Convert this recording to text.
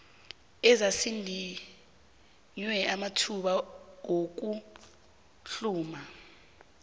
ezazidinywe amathuba wokuhluma